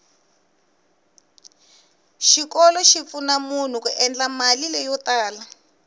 xikolo xi pfuna munhu ku endla mali leyo tala